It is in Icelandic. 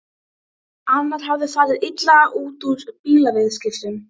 Sól ég sá, sanna dagstjörnu, drúpa dynheimum í.